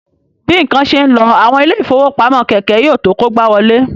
Bí ǹkan ṣe ń lọ, àwọn ilé ìfowópamọ́ kékèké yóò tó kógbáwọlé